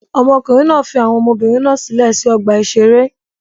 Ọmọkùnrin náà fi àwọn ọmọbìnrin náà sílẹ̀ sí ọgbà-ìṣeré.